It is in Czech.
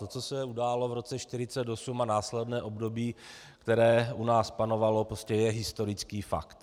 To, co se událo v roce 1948 a následném období, které u nás panovalo, prostě je historický fakt.